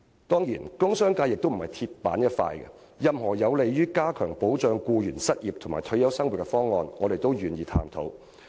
當然商界也並非"鐵板一塊"，任何有利於加強保障僱員失業和退休生活的方案，我們均願意探討。